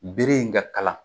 Bere in ka kalan